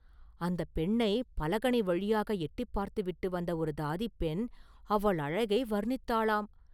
அந்தப் பெண்ணைப் பலகணி வழியாக எட்டிப் பார்த்துவிட்டு வந்த ஒரு தாதிப் பெண் அவள் அழகை வர்ணித்தாளாம்.